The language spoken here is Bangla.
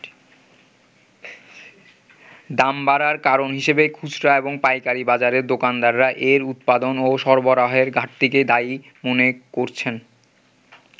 দাম বাড়ার কারণ হিসেবে খুচরা এবং পাইকারি বাজারের দোকানদাররা এর উৎপাদন ও সরবরাহের ঘাটতিকেই দায়ী মনে করছেন।